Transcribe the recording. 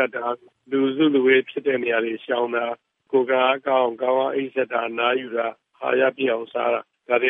ပ်တာ၊ လူစုလူဝေးရှိတဲ့နေရာတွေကို ရှောင်ကျဉ်တာအပြင်၊ ကိုယ်ခံအားကောင်းအောင် ကောင်းကောင်းအိပ်၊ အနားယူကာ၊ အာဟာပြည့်အောင်စားတာတွေ